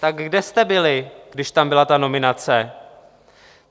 Tak kde jste byli, když tam byla ta nominace?